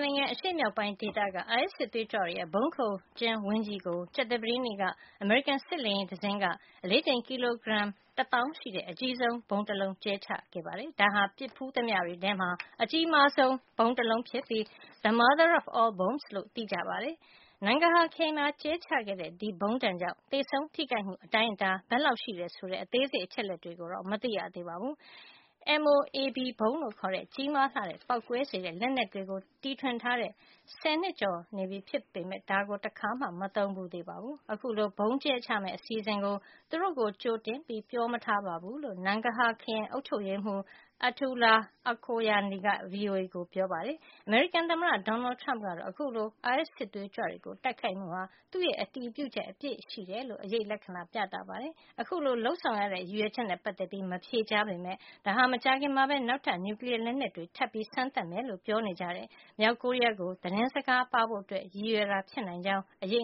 နိုင်ငံ အရှေ့မြောက်ပိုင်း ဒေသက အိုင်အက်စ် စစ်သွေးကြွတွေရဲ့ ဗုံးခိုကျင်းဝင်း ကြီးကို ကြာသပတေးနေ့က အမေရိကန် စစ်လေယာဉ် တစင်းက အလေးချိန် ကီလိုဂရမ် တသောင်းရှိတဲ့ အကြီးဆုံး ဗုံးတလုံးကြဲချခဲ့ပါတယ်။ ဒါဟာ ပစ်ဖူးသမျှတွေထဲမှာ အကြီးမားဆုံး ဗုံးတလုံးဖြစ်ပြီး "the mother of all bombs" လို့သိကြ ပါတယ်။ Nangarhar ခရိုင်မှာ ကြဲချခဲ့တဲ့ ဒီဗုံးဒဏ်ကြောင့် သေဆုံးထိခိုက်မှု အတိုင်းအတာ ဘယ်လောက်ရှိတယ်ဆိုတဲ့ အသေးစိတ် အချက်လက် တွေကိုတော့ မသိရသေးပါဘူး။ MOAB ဗုံးလို့ ခေါ်တဲ့ ကြီးမားလှတဲ့ ပေါက်ကွဲစေတဲ့ လက်နက်ကို တီထွင်ထားတဲ့ ဆယ်နှစ်ကျော် နေပြီဖြစ် ပေမယ့် တခါမှ မသုံးဘူးသေးပါဘူး။ အခုလို ဗုံးကြဲချမယ့် အစီအစဉ်ကို သူတို့ကို ကြိုတင်ပြီး ပြောမထားဘူးလို့ Nangarhar ခရိုင် အုပ်ချုပ်ရေးမှုး Attaullah Khoghyani က VOA ကို ပြောပါတယ်။ အမေရိကန် သမ္မတ Donald Trump ကတော့ အခုလို အိုင်အက်စ် စစ်သွေးကြွတွေကို တိုက်ခိုက်မှုဟာ သူ့ရဲ့ အတည်ပြုချက် အပြည့်ရှိတယ်လို့ အရိပ်လက္ခဏာ ပြသပါတယ်။ အခုလို လုပ်ဆောင်ရတဲ့ ရည်ရွယ်ချက်နဲ့ ပတ်သက်ပြီး မဖြေကြားပေမယ့် ဒါဟာ မကြာခင်မှာပဲ နောက်ထပ် နျူကလီယား လက်နက်တွေ ထပ်ပြီး စမ်းသပ်မယ်လို့ ပြောနေကြတဲ့ မြောက်ကိုရီးယားကို သတင်းစကား ပါးဖို့ ရည်ရွယ်တာ ဖြစ်နိုင်ကြောင်း အရ